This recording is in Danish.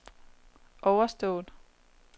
overstået